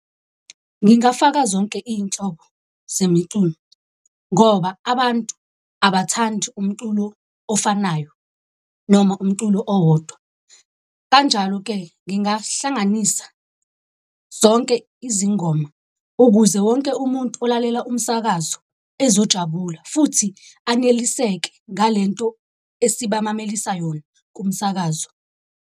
Ngingafaka zonke iy'nhlobo zemiculo ngoba abantu abathandi umculo ofanayo, noma umculo owodwa. Kanjalo-ke, ngingahlanganisa zonke izingoma ukuze wonke umuntu olalela umsakazo ezojabula, futhi aneliseke ngale nto esibamamelisa yona kumsakazo.